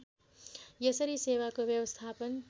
यसरी सेवाको व्यवस्थापन